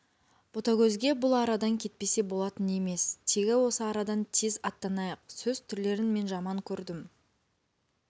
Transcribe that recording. ботагөзге бұл арадан кетпесе болатын емес тегі осы арадан тез аттанайық сөз түрлерін мен жаман көрдім